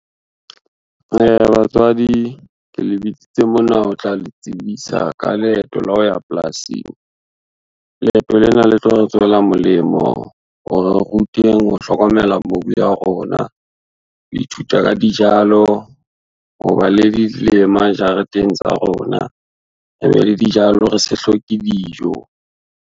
Batswadi ke le bitsitse mona, ho tla le tsebisa ka leeto la ho ya polasing. Leeto lena le tlo re tswela molemo hore re rutweng ho hlokomela mobu ya rona, ho ithuta ka dijalo, ho ba le dilema jareteng tsa rona, re be le dijalo re se hloke dijo.